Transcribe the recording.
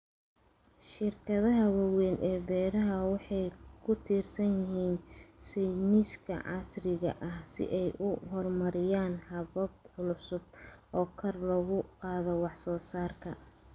Shirkadaha waaweyn ee beeraha waxay ku tiirsan yihiin sayniska casriga ah si ay u horumariyaan habab cusub oo kor loogu qaado wax soo saarka.